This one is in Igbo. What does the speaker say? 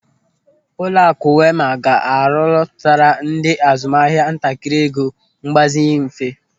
Ụlọakụ Wema ga-arolọpụtara ndị azụmahịa ntakịrị ego mgbazinye mfe.